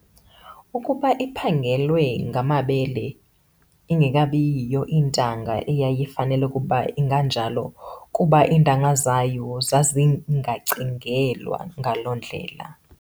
ukuba iphangelwe ngamabele, ingekabiyiyo intanga eyayifanele ukuba inganjalo kuba iintanga zayo zazingekacingelwa ngalo ndlela.